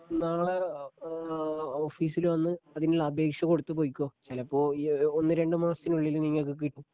നാളെ ഏഹ് ഓഫീസില് വന്ന് അതിനുള്ള അപേക്ഷ കൊടുത്തു പൊയ്ക്കോ ചിലപ്പോ ഈ ഒന്ന് രണ്ട് മാസത്തിനുള്ളില് നിങ്ങക്ക് കിട്ടും